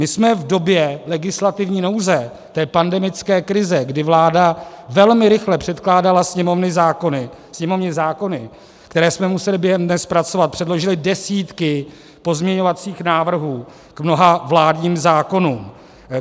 My jsme v době legislativní nouze, té pandemické krize, kdy vláda velmi rychle předkládala sněmovní zákony, které jsme museli během dne zpracovat, předložili desítky pozměňovacích návrhů k mnoha vládním zákonům.